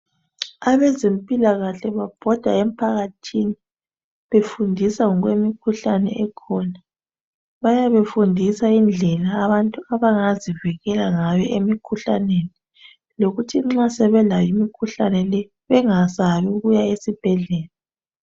Abezimpilakahle babhoda emphakathini befundisa ngokwemikhuhlane ekhona bayabe befundisa indlela abantu abangazivikela ngayo emikhuhlaneni llokuthi nxa sebelayo imikhuhlane le bengasabi ukuya esibhedlela